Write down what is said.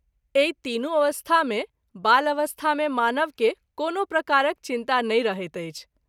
एहि तीनू अवस्था मे बाल अवस्था मे मानव के कोनो प्रकारक चिन्ता नहिं रहैत अछि।